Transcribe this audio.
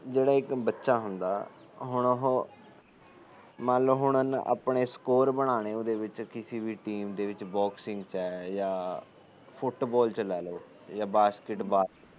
ਜਿਹੜਾ ਇੱਕ ਬੱਚਾ ਹੁੰਦਾ ਹੁਣ ਉਹ ਮੰਨ ਲੋ ਆਪਣੇ ਇਕ ਸਕੋਰ ਬਣਾਣੇ ਆਪਣੇ ਕਿਸੇ ਵੀ ਚੀਜ ਚ ਐ ਬੋਕਸਿੰਗ ਚ ਐ ਜਾ ਫੁਟਬੋਲ ਚ ਲੈਲੋ ਜਾ ਬਾਕਸਿੰਗ ਬਾਲ